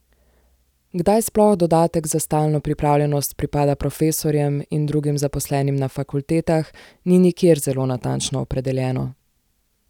Kdaj sploh dodatek za stalno pripravljenost pripada profesorjem in drugim zaposlenim na fakultetah, ni nikjer zelo natančno opredeljeno.